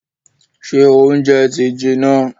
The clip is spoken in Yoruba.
Ṣé óúnjẹ ti jiná?